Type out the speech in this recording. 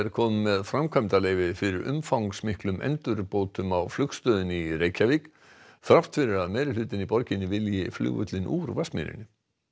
komið með framkvæmdaleyfi fyrir umfangsmiklum endurbótum á flugstöðinni í Reykjavík þrátt fyrir að meirihlutinn í borginni vilji flugvöllinn úr Vatnsmýri